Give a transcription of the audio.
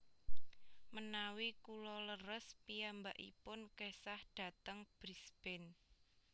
Menawi kulo leres piyambakipun kesah dateng Brisbane